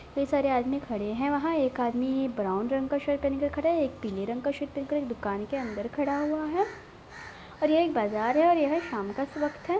ढेर सारे आदमी खड़े हैं वहाँ एक आदमी ब्राउन रंग का शर्ट पहन के खड़ा है एक पीले रंग का शर्ट पहनकर एक दुकान के अंदर खड़ा हुआ है| और ये एक बाजार है और यह शाम का वक्त है।